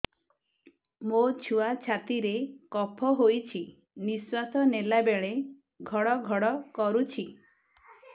ମୋ ଛୁଆ ଛାତି ରେ କଫ ହୋଇଛି ନିଶ୍ୱାସ ନେଲା ବେଳେ ଘଡ ଘଡ କରୁଛି